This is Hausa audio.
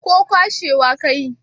ko kwashewa ka yi?